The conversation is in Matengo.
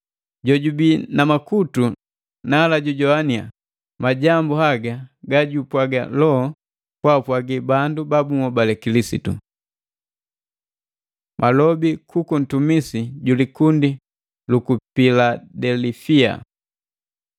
“Jojubii na makutu nala jujogwania majambu haga gajupwaga Loho kwaapwagi bandu babunhobale Kilisitu!” Malobi kuku ntumisi ju likundi luku Piladelifia